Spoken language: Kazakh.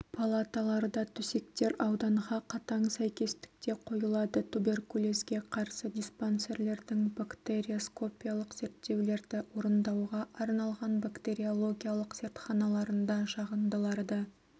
палаталарда төсектер ауданға қатаң сәйкестікте қойылады туберкулезге қарсы диспансерлердің бактериоскопиялық зерттеулерді орындауға арналған бактериологиялық зертханаларында жағындыларды